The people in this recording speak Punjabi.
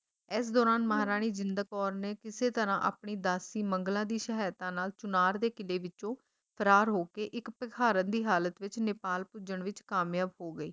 ਇਸ ਦੌਰਾਨ ਮਹਾਰਾਣੀ ਜਿੰਦ ਕੌਰ ਨੇ ਕਿਸੇ ਤਰਾਂ ਆਪਣੀ ਦਾਸੀ ਮੰਗਲਾਂ ਦੀ ਸਹਾਇਤਾ ਨਾਲ ਚੁਨਾਰ ਦੇ ਕਿਲ੍ਹੇ ਵਿੱਚੋਂ ਫਰਾਰ ਹੋਕੇ ਇੱਕ ਭਿਖਾਰਣ ਦੀ ਹਾਲਤ ਵਿੱਚ ਨੇਪਾਲ ਪੁੱਜਣ ਵਿੱਚ ਕਾਮਯਾਬ ਹੋ ਗਈ।